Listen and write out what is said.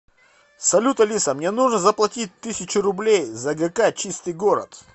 салют алиса мне нужно заплатить тысячу рублей за гк чистый город